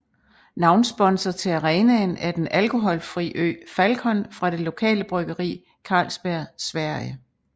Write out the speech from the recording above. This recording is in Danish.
Navnsponsor til arenaen er den alkoholfrie øl Falcon fra det lokale bryggeri Carlsberg Sverige